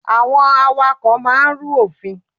Àwọn awakọ̀ máà ń rú òfin.